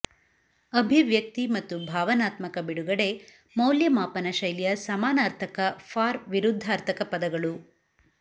ಅಭಿವ್ಯಕ್ತಿ ಮತ್ತು ಭಾವನಾತ್ಮಕ ಬಿಡುಗಡೆ ಮೌಲ್ಯಮಾಪನ ಶೈಲಿಯ ಸಮಾನಾರ್ಥಕ ಫಾರ್ ವಿರುದ್ಧಾರ್ಥಕ ಪದಗಳು